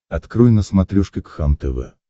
открой на смотрешке кхлм тв